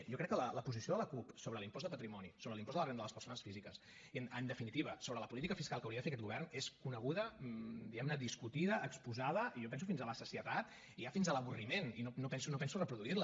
jo crec que la posició de la cup sobre l’impost de patrimoni sobre l’impost de la renda de les persones físiques i en definitiva sobre la política fiscal que hauria de fer aquest govern és coneguda diguem ne discutida exposada i jo penso fins a la sacietat i ja fins a l’avorriment i no penso reproduir la